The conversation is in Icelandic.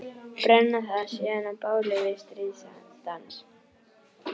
Brenna það síðan á báli við stríðsdans.